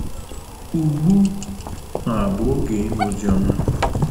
Ugbu a bụ oge ịnụ Oziọma.